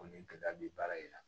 Ko ni gɛlɛya be baara in na